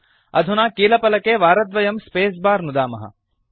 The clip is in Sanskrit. अधुना कीलफलके वारद्वयं स्पेस बार नुदामः